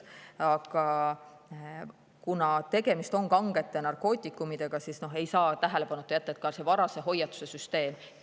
Aga kuna tegemist on kangete narkootikumidega, siis ei saa tähelepanuta jätta ka varase hoiatuse süsteemi.